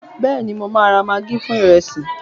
béèni mo ma ra maggi fún iresi